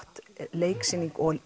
leiksýning og